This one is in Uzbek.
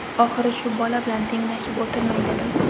Oxiri shu bola bilan tenglashib o‘tirmay dedim.